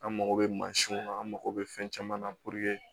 An mako bɛ mansinw na an mago bɛ fɛn caman na